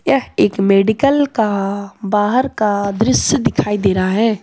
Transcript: यह एक मेडिकल का बाहर का दृश्य दिखाई दे रहा है।